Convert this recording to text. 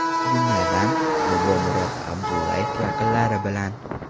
Jumladan: Bobomurod Abdullayev yaqinlari bilan.